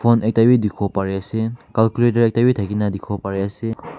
phone ekta be dikhibo pare ase calculator ekta be thake na dikhibo pare ase.